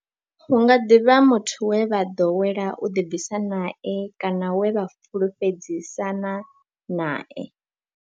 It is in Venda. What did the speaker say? Hu nga ḓi vha muthu we vha ḓowela u ḓibvisa nae kana we vha fhulufhedzisana nae.